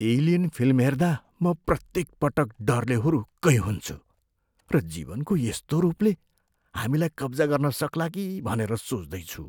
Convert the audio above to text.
Alien film हेर्दा म प्रत्येकपटक डरले हुरुक्कै हुन्छु र जीवनको यस्तो रूपले हामीलाई कब्जा गर्न सक्ला कि भनेर सोच्दै छु।